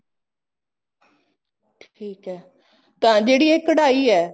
ਠੀਕ ਹੈ ਤਾਂ ਜਿਹੜੀ ਇਹ ਕਢਾਈ ਹੈ